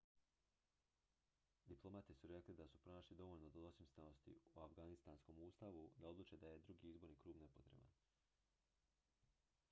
diplomati su rekli da su pronašli dovoljno dvosmislenosti u afganistanskom ustavu da odluče da je drugi izborni krug nepotreban